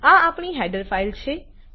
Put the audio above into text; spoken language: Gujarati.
આ આપણી હેડર ફાઈલ છે